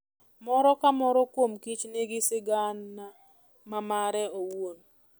Moro ka moro kuom kich nigi sigana ma mare owuon.